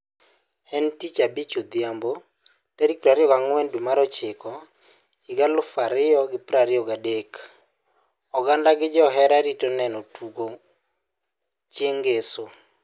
En tich abich odhiambio tarik 24/09/2023,oganda gi jiohera rito neno tugo chieng' ngeso.